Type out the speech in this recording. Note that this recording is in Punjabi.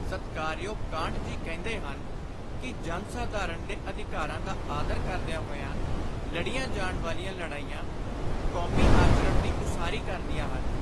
ਸਤਿਕਾਰਯੋਗ ਕਾਂਟ ਜੀ ਕਹਿੰਦੇ ਹਨ ਕਿ ਜਨ-ਸਾਧਾਰਣ ਦੇ ਅਧਿਕਾਰਾਂ ਦਾ ਆਦਰ ਕਰਦਿਆਂ ਹੋਇਆਂ ਲੜੀਆਂ ਜਾਣ ਵਾਲੀਆਂ ਲੜਾਈਆਂ ਕੌਮੀ ਆਚਰਣ ਦੀ ਉਸਾਰੀ ਕਰਦੀਆਂ ਹਨ।